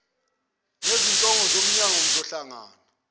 nezinhloko zeminyango ngizohlangana